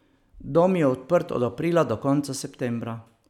Dom je odprt od aprila in do konca septembra.